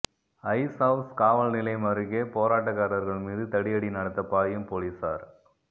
ice house காவல் நிலையம் அருகே போராட்டக்காரர்கள் மீது தடியடி நடத்த பாயும் போலீசார்